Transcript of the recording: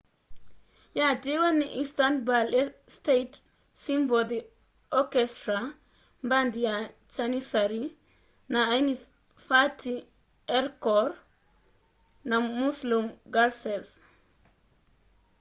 yatiiwe ni istanbul state symphony orchestra mbandi ya jannissary na aini fatih erkoḉ na müslüm gürses